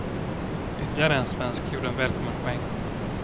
Ytterligare en svensk gjorde en välkommen poäng.